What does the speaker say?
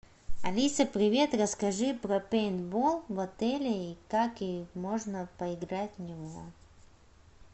алиса привет расскажи про пейнтбол в отеле и как можно поиграть в него